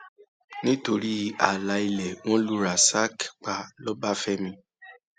nítorí ààlà ilé wọn lu rasak pa lọbáfẹmi